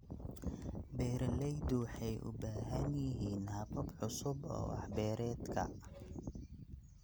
Beeraleydu waxay u baahan yihiin habab cusub oo wax-beereedka.